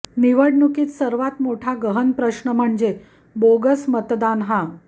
निवडणुकीत सर्वात मोठा गहन प्रश्न म्हणजे बोगस मतदान हा